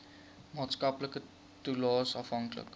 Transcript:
maatskaplike toelaes afhanklik